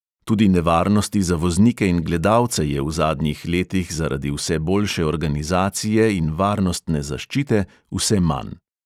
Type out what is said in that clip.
Tudi nevarnosti za voznike in gledalce je v zadnjih letih zaradi vse boljše organizacije in varnostne zaščite vse manj.